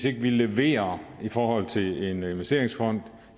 ikke leverer i forhold til en investeringsfond